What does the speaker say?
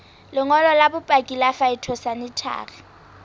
lengolo la bopaki la phytosanitary